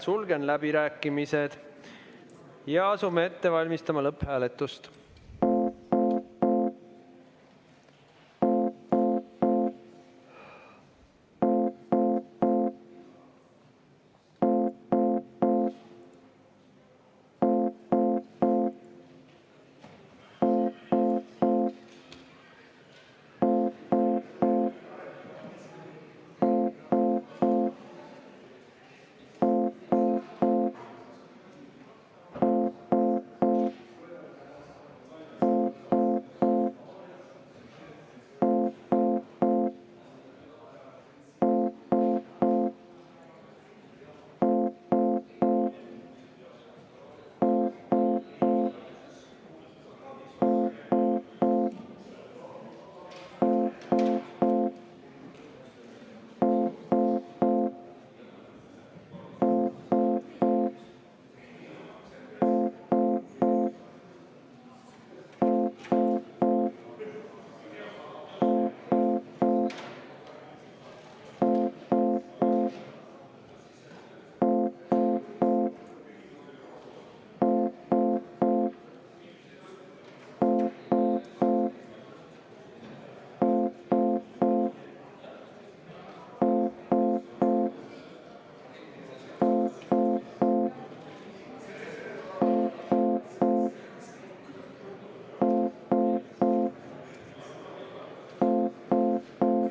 Sulgen läbirääkimised ja asume ette valmistama lõpphääletust.